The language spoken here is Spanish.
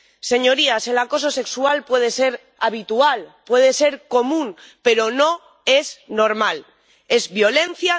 Señorías, el acoso sexual puede ser habitual, puede ser común, pero no es normal es violencia.